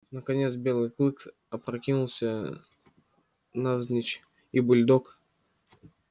наконец белый клык опрокинулся навзничь и бульдог